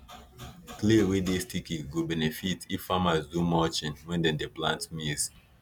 clay wey dey sticky go benefit if farmers do mulching when dem dey plant maize